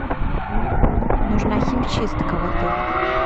нужна химчистка в отеле